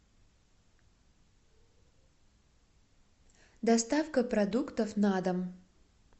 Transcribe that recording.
доставка продуктов на дом